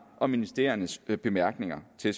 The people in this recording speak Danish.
og ministeriernes bemærkninger det